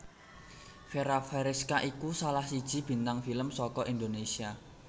Fera Feriska iku salah siji bintang film saka Indonesia